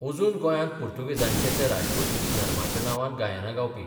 अजून गोंयांत पुर्तुगेजांचे ते राजवटीचीं धर्माच्या नांवान गायनां गावपी